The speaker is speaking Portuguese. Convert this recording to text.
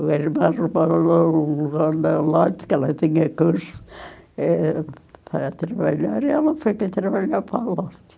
O irmão roubou o lote, que ela tinha curso, eh, para trabalhar, e ela foi para trabalhar para a lote.